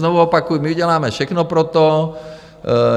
Znovu opakuji, my uděláme všechno pro to.